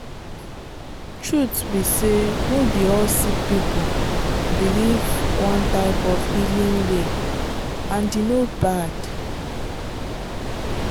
truth be say no be all sick people believe one type of healing way and e no bad.